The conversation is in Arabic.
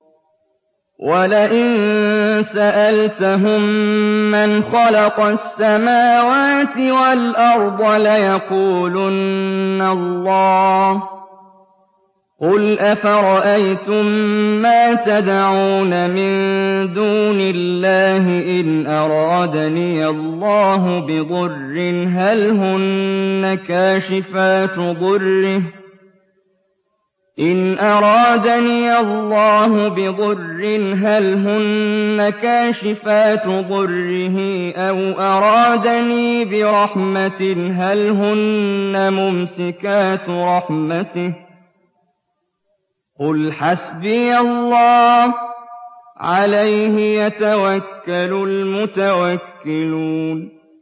وَلَئِن سَأَلْتَهُم مَّنْ خَلَقَ السَّمَاوَاتِ وَالْأَرْضَ لَيَقُولُنَّ اللَّهُ ۚ قُلْ أَفَرَأَيْتُم مَّا تَدْعُونَ مِن دُونِ اللَّهِ إِنْ أَرَادَنِيَ اللَّهُ بِضُرٍّ هَلْ هُنَّ كَاشِفَاتُ ضُرِّهِ أَوْ أَرَادَنِي بِرَحْمَةٍ هَلْ هُنَّ مُمْسِكَاتُ رَحْمَتِهِ ۚ قُلْ حَسْبِيَ اللَّهُ ۖ عَلَيْهِ يَتَوَكَّلُ الْمُتَوَكِّلُونَ